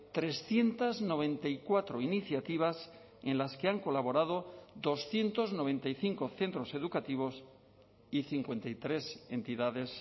trescientos noventa y cuatro iniciativas en las que han colaborado doscientos noventa y cinco centros educativos y cincuenta y tres entidades